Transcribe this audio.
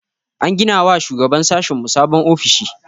An gina wa shugaban sashinmu sabon ofishi.